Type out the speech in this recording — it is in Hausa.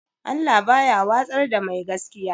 Allah baya watsar da mai gaskiya